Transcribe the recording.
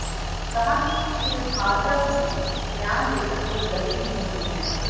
कहा कि श्री भार्गव ने बयान देकर कोई गलती नही की है